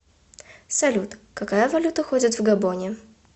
салют какая валюта ходит в габоне